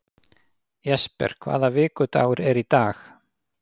Jesper, hvaða vikudagur er í dag?